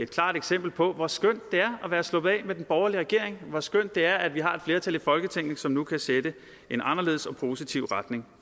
klart eksempel på hvor skønt det er at være sluppet af med den borgerlige regering hvor skønt det er at vi har et flertal i folketinget som nu kan sætte en anderledes og positiv retning